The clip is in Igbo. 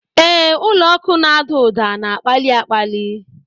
Ee, ụlọ ọkụ na-ada ụda na-akpali akpali!